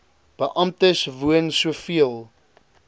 beamptes woon soveel